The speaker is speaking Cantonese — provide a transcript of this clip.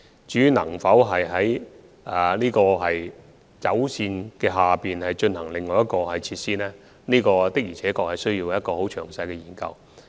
至於能否在鐵路線之下再興建另一運輸設施，我們需要進行一個很詳細的研究。